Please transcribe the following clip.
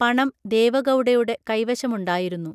പണം ദേവഗൗഡയുടെ കൈവശമുണ്ടായിരുന്നു